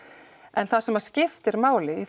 en það sem skiptir máli í